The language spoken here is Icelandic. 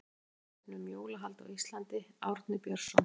Frekara lesefni um jólahald á Íslandi Árni Björnsson.